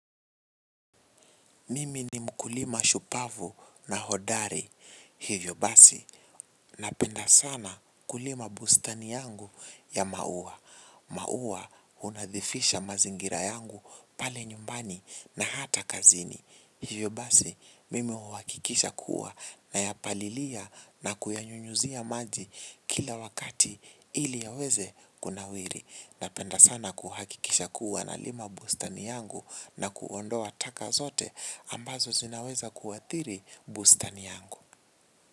Mimi ni mkulima shupavu na hodari. Hivyo basi, napenda sana kulima bustani yangu ya maua. Maua unadhifisha mazingira yangu pale nyumbani na hata kazini. Hivyo basi, mimi huhakikisha kuwa nayapalilia na kuyanyunyuzia maji kila wakati ili yaweze kunawiri. Napenda sana kuhakikisha kuwa na lima bustani yangu na kuondoa taka zote ambazo zinaweza kuathiri bustani yangu.